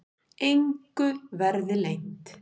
Engu verði leynt.